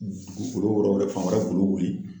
Dugukolo yɔrɔ wɛrɛ fan wɛrɛ golo wuli